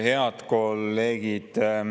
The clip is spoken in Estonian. Head kolleegid!